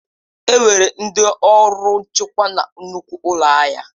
Enwere ndị ọrụ nchekwa na nnukwu ụlọ ahịa.